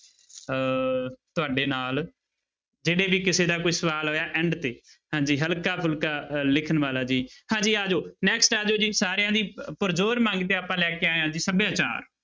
ਅਹ ਤੁਹਾਡੇ ਨਾਲ ਜਿਹੜੇ ਵੀ ਕਿਸੇ ਦਾ ਕੋਈ ਸਵਾਲ ਹੋਇਆ end ਤੇ ਹਾਂਜੀ ਹਲਕਾ ਫੂਲਕਾ ਲਿਖਣ ਵਾਲਾ ਜੀ, ਹਾਂਜੀ ਆ ਜਾਓ next ਆ ਜਾਓ ਜੀ ਸਾਰਿਆਂ ਦੀ ਅਹ ਪਰਜੋਰ ਮੰਗ ਤੇ ਆਪਾਂ ਲੈ ਕੇ ਆਏ ਹਾਂ ਜੀ ਸਭਿਆਚਾਰ।